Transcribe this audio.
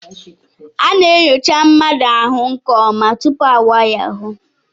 A na-enyocha mmadụ ahụ nke ọma tupu awaa ya ahụ.